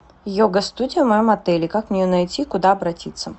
йога студия в моем отеле как мне ее найти куда обратиться